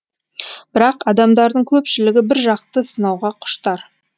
бірақ адамдардың көпшілігі біржақты сынауға құштар